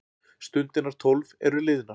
Stundirnar tólf eru liðnar.